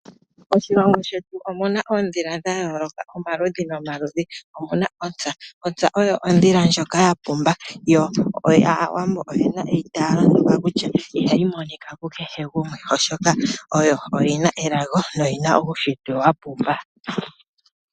Moshilongo shetu omuna oondhila dha yooloka, omaludhi nomaludhi. Omuna ontsa, ontsa oyo ondhila ndjoka ya pumba yo aawambo oyena eitaalo ndoka kutya ihayi monika ku kehe gumwe oshoka oyo oyina elago no yina uunshitwe wa pumba.